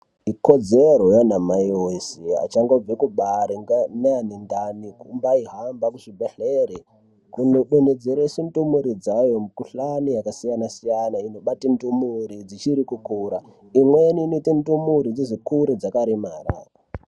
Ikodzero yaana mai wese achangobve kubare neane ndani kumbaihamba kuchibhedhleri kundodonhoDzerese ndumure dzayo mukhuhlani yakasiyana siyana inobate ndumure dzichiri kukura imweni inoite ndumure dzizokure dzakaremara.